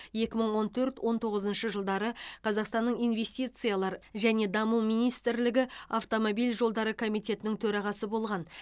екі мың он төрт он тоғызыншы жылдары қазақстанның инвестициялар және даму министрлігі автомобиль жолдары комитетінің төрағасы болған